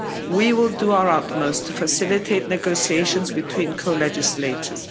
We will do our utmost to facilitate negotiations between co legislators.